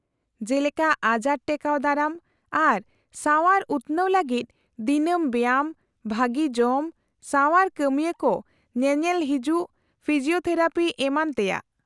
-ᱡᱮᱞᱮᱠᱟ ᱟᱡᱟᱨ ᱴᱮᱠᱟᱣ ᱫᱟᱨᱟᱢ ᱟᱨ ᱥᱟᱣᱟᱨ ᱩᱛᱱᱟᱹᱣ ᱞᱟᱹᱜᱤᱫ ᱫᱤᱱᱟᱹᱢ ᱵᱮᱭᱟᱢ, ᱵᱷᱟᱹᱜᱤ ᱡᱚᱢ, ᱥᱟᱣᱟᱨ ᱠᱟᱹᱢᱤᱭᱟᱹ ᱠᱚ ᱧᱮᱞᱮᱞ ᱦᱤᱡᱩᱜ, ᱯᱷᱤᱡᱤᱣᱛᱷᱮᱨᱟᱯᱤ ᱮᱢᱟᱱ ᱛᱮᱭᱟᱜ ᱾